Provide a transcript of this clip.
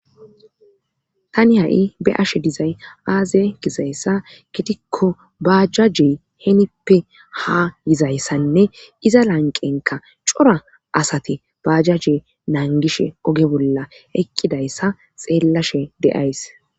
Tani ha'i be ashe dizay aaze gizayssa gitikko baajaje henippe ha yizayssanne iza lanqenka cora asati baajaje nangishe oge bolla eqqidayssa xeellashe de7ays